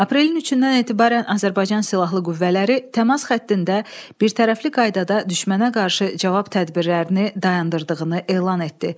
Aprelin üçündən etibarən Azərbaycan silahlı qüvvələri təmas xəttində birtərəfli qaydada düşmənə qarşı cavab tədbirlərini dayandırdığını elan etdi.